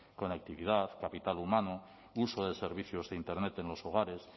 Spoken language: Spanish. conectividad capital humano uso de servicios de internet en los hogares